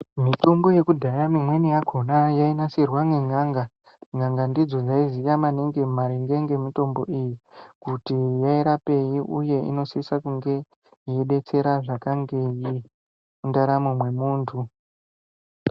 Mitombo yekudhaya mimweni yakhona yainasirwa ngen'anga, n'anga ndidzona dzaiziya maningi maringe nemitombo iyi kuti yairapei uye inosisa kunge yedetsera zvakangei mundaramo mwemunthu